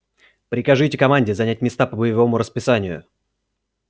прикажите команде занять места по боевому расписанию